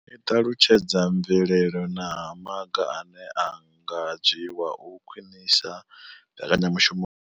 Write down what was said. I ṱalutshedza mvelelo na maga ane a nga dzhiwa u khwinisa mbekanyamushumo.